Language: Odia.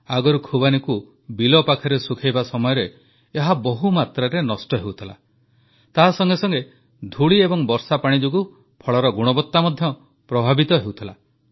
ଆଗରୁ ଖୁବାନୀକୁ ବିଲ ପାଖରେ ଶୁଖାଇବା ସମୟରେ ଏହା ବହୁମାତ୍ରାରେ ନଷ୍ଟ ହେଉଥିଲା ତାହା ସଙ୍ଗେ ସଙ୍ଗେ ଧୂଳି ଏବଂ ବର୍ଷାପାଣି ଯୋଗୁଁ ଫଳର ଗୁଣବତ୍ତା ମଧ୍ୟ ପ୍ରଭାବିତ ହେଉଥିଲା